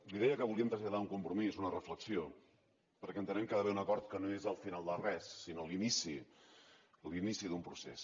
li deia que volíem traslladar un compromís una reflexió perquè entenem que hi ha d’haver un acord que no és el final de res sinó l’inici l’inici d’un procés